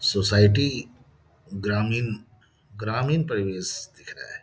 Society ग्रामीण ग्रामीण परिवेश दिख रहा है ।